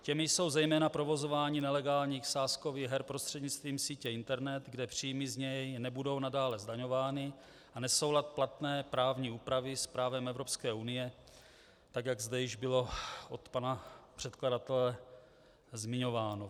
Těmi jsou zejména provozování nelegálních sázkových her prostřednictvím sítě internet, kde příjmy z něj nebudou nadále zdaňovány, a nesoulad platné právní úpravy s právem Evropské unie, tak jak zde již bylo od pana předkladatele zmiňováno.